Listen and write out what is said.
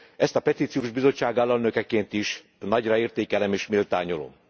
Ezt a Petíciós Bizottság alelnökeként is nagyra értékelem és méltányolom.